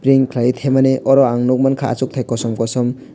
ring khlai thebmani oro ang nuk mankha achuk thai kosom kosom.